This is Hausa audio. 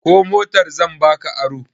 Ko motar zan ba ka aro?